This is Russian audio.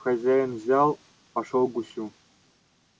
хозяин взял пошёл к гусю